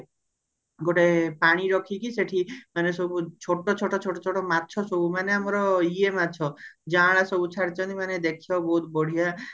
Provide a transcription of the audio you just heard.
ଗୋଟେ ପାଣି ରଖିକି ସେଠି ମାନେ ସବୁ ଛୋଟ ଛୋଟ ଛୋଟ ଛୋଟ ମାଛ ସବୁ ମାନେ ଅମାର ଇଏ ମାଛ ଯାଁଳା ସବୁ ଛାଡିଛନ୍ତି ମାନେ ଦେଖିବାକୁ ବହୁତ ବଢିଆ